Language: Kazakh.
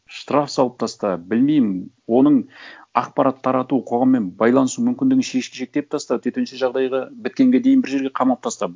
штраф салып таста білмеймін оның ақпарат тарату қоғаммен байланысу мүмкіндігінше шектеп таста төтенше жағдайға біткенге дейін бір жерге қамап таста